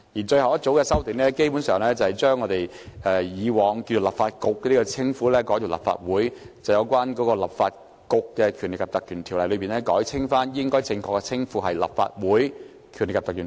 最後一組修訂是將以往"立法局"的稱呼改為"立法會"，"《立法局條例》"改為正確的稱呼"《立法會條例》"。